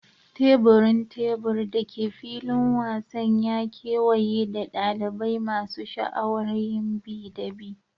Teburin tebur da ke filin wasan ya kewaye da dalibai masu sha'awar yin bi da bi.